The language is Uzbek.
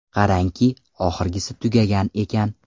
Qarangki, oxirgisi tugagan ekan.